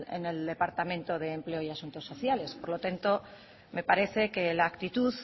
en el departamento de empleo y asuntos sociales por lo tanto me parece que la actitud